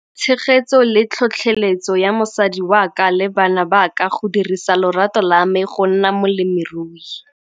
Tshegetso le tlhotlheletso ya mosadi wa ka le bana ba ka go dirisa lorato la me go nna molemirui.